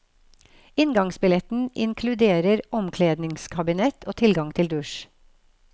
Inngangsbilletten inkluderer omkledningskabinett og tilgang til dusj.